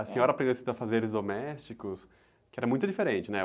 A senhora aprendeu esses afazeres domésticos, que era muito diferente, né?